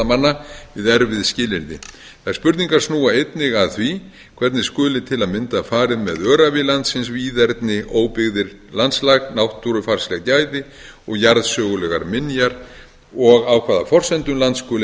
manna við erfið skilyrði þær spurningar snúa einnig að því hvernig skuli til að mynda farið með öræfi landsins víðerni óbyggðir landslag náttúrufarsleg gæði og jarðsögulegar minjar og á hvaða forsendum land skuli